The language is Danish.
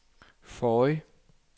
forrige